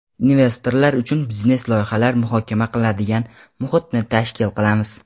investorlar uchun biznes loyihalar muhokama qiladigan muhitni tashkil qilamiz.